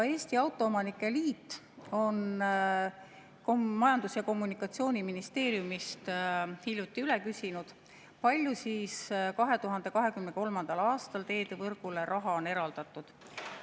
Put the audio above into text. Eesti Autoomanike Liit on Majandus- ja Kommunikatsiooniministeeriumist hiljuti üle küsinud, kui palju on 2023. aastal teedevõrgule raha eraldatud.